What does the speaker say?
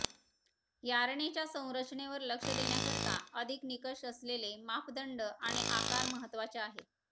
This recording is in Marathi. यार्नेच्या संरचनेवर लक्ष देण्याकरता अधिक निकष असलेले मापदंड आणि आकार महत्वाचे आहेत